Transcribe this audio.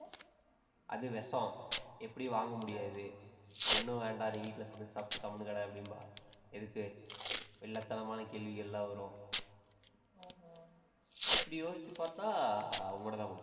அது விஷம். எப்படியும் வாங்க முடியாது. ஒண்ணும் வேண்டாம், நீ வீட்டுல சமைச்சு சாப்பிட்டு கம்முனு கிட அப்படின்பா. எதுக்கு? வில்லத்தனமான கேள்விகள் எல்லாம் வரும். இப்படி யோசிச்சு பார்த்தா உன்கிட்டதான் கொடுப்பேன்.